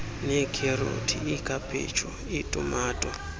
neekherothi ikhaphetshu itumato